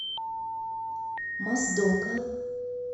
моздока